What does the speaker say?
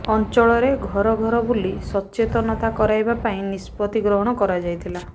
ଅଞ୍ଚଳରେ ଘର ଘର ବୁଲି ସଚେତନତା କରାଇବା ପାଇଁ ନିଷ୍ପତ୍ତି ଗ୍ରହଣ କରାଯାଇଥିଲା